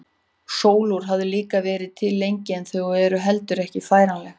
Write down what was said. Sólúr hafa líka verið til lengi en þau eru heldur ekki færanleg.